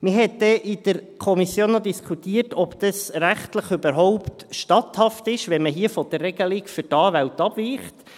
Man hat dann in der Kommission noch diskutiert, ob es rechtlich überhaupt statthaft ist, wenn man hier von der Regelung für die Anwälte abweicht.